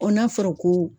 n'a fɔra ko